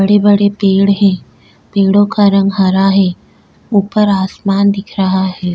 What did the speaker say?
बड़े-बड़े पेड़ हैं पेड़ों का रंग हरा है ऊपर आसमान दिख रहा है।